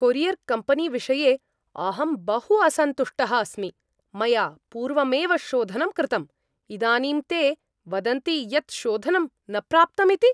Courier company विषये अहं बहु असन्तुष्टः अस्मि, मया पूर्वमेव शोधनं कृतं, इदानीं ते वदन्ति यत् शोधनं न प्राप्तम् इति!